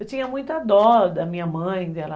Eu tinha muita dó da minha mãe, dela...